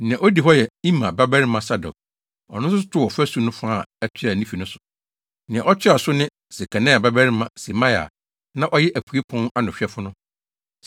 Nea odi hɔ yɛ Imer babarima Sadok, ɔno nso too ɔfasu no fa a ɛtoa ne fi so. Nea ɔtoa so ne Sekania babarima Semaia a na ɔyɛ apuei pon ano hwɛfo no.